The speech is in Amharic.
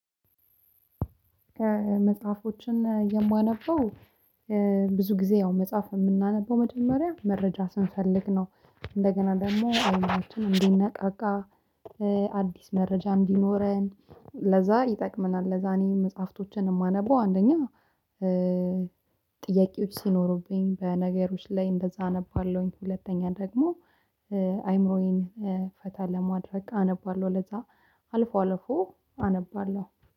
ከመጽሐፎች የማነበው ብዙ ጊዜ ያው መጽሐፍ የምናነበው መጀመሪያ መረጃ ስንፈልግ ነው። እንደገና ደግሞ አይኖቻችንን እንዲነቃቃ አዲስ መረጃ እንዲኖረን ለዛ ይጠቅምናል ለዛ እኔ መጽሐፍቶችን የማነበው አንደኛ ጥያቄዎች ሲኖሩብኝ በነገሮች ላይ እንደዛ አነባለሁኝ ሁለተኛ ደግሞ አይምሮዬን ፈታ ለማድረግ አነባለሁ ለዛ አልፎ አልፎ አነባለሁ።